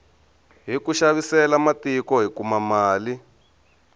hiku xavisela matiko hi kuma mali